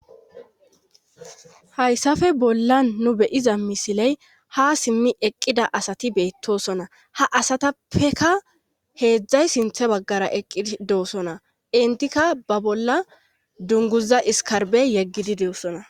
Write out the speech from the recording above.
Hayssafe bolla nu beyiza misiley ha simmi eqqida asati beettosona ha asatappeka heedzdzay sinthe baggara eqqi doosona intika ba bolla dunguza iskarbey yeggidi deosona.